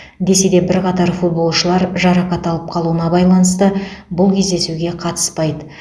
десе де бірқатар футболшылар жарақат алып қалуына байланысты бұл кездесуге қатыспайды